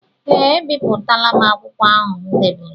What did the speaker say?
Ee ebipụtala m akwụkwọ ahụ m dere.